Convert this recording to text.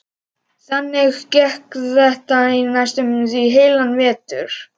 Þannig gekk þetta í næstum því heilan vetur.